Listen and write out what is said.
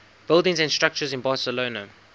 buildings and structures in barcelona